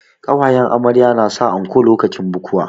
Ƙawayen amarya na sa anko lokacin bukuwa